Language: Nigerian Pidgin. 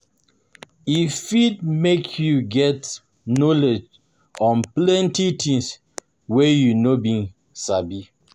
E fit make you get knowledge on plenty things wey you no been sabi